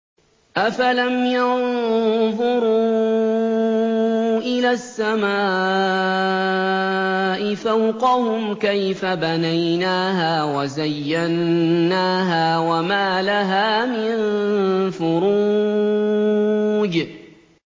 أَفَلَمْ يَنظُرُوا إِلَى السَّمَاءِ فَوْقَهُمْ كَيْفَ بَنَيْنَاهَا وَزَيَّنَّاهَا وَمَا لَهَا مِن فُرُوجٍ